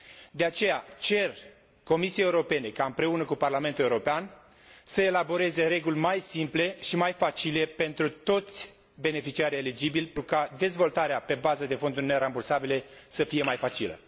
De aceea, cer Comisiei Europene ca, împreună cu Parlamentul European, să elaboreze reguli mai simple și mai facile pentru toți beneficiarii eligibili, pentru ca dezvoltarea pe bază de fonduri nerambursabile să fie mai facilă.